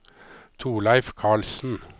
Thorleif Karlsen